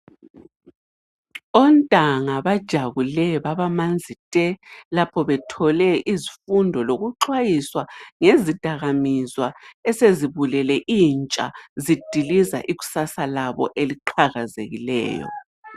Ontanga bajabule babamanzi te, lapho bethole izifundo lokuxwayiswa ngezidakamizwa esezibulele intsha zidiliza ikusasa labo eliqhakazekileyo.